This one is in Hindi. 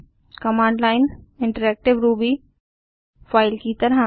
command line interactive Ruby file की तरह